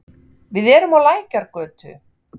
Við erum á Lækjargötu.